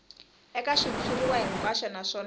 eka xitshuriwa hinkwaxo naswona a